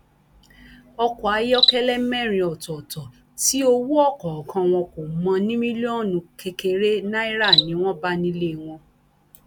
ọkọ ayọkẹlẹ mẹrin ọtọọtọ tí owó ọkọọkan wọn kò mọ ní mílíọnù kékeré náírà ni wọn bá nílé wọn